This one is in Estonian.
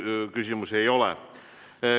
Teile küsimusi ei ole.